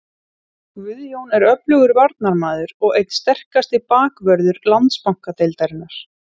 Guðjón er öflugur varnarmaður og einn sterkasti bakvörður Landsbankadeildarinnar.